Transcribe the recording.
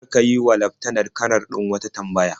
Kar ka yi wa laftanar-kanar din wata tambaya.